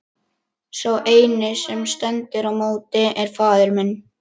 Og sá eini sem stendur í móti er faðir minn!